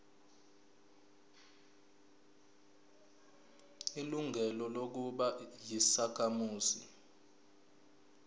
ilungelo lokuba yisakhamuzi